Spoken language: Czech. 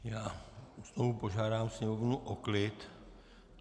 Já znovu požádám sněmovnu o klid.